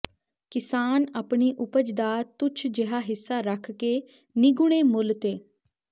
ਕਿਸਾਨ ਆਪਣੀ ਉਪਜ ਦਾ ਤੁੱਛ ਜਿਹਾ ਹਿੱਸਾ ਰੱਖ ਕੇ ਨਿਗੂਣੇ ਮੁੱਲ ਤੇ